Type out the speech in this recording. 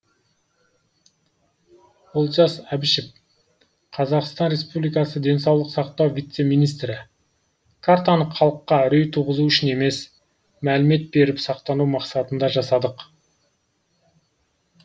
олжас әбішев қазақстан республикасы денсаулық сақтау вице министрі картаны халыққа үрей туғызу үшін емес мәлімет беріп сақтану мақсатында жасадық